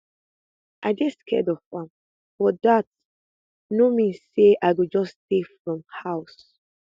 i dey scared of am but dat no mean say i go just stay fro house